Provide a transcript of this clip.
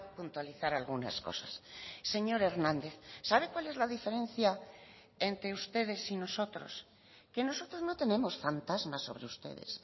puntualizar algunas cosas señor hernández sabe cuál es la diferencia entre ustedes y nosotros que nosotros no tenemos fantasmas sobre ustedes